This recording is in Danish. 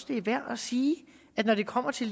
det er værd at sige at når det kommer til